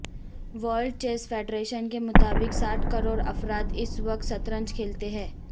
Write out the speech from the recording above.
world chess federation کے مطابق ساٹھ کروڑ افراد اس وقت شطرنج کھیلتے ہیں